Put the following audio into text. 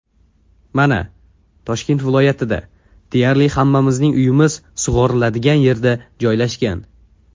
Mana, Toshkent viloyatida deyarli hammamizning uyimiz sug‘oriladigan yerda joylashgan.